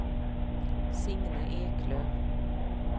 Signe Eklöf